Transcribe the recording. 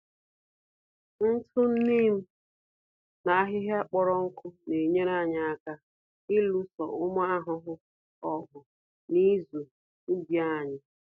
Ntụ Neem na ahịhịa kpọrọ nkụ n'enyere anyị aka ịlụso ụmụ ahụhụ ọgụ na ịzụ ubi anyị.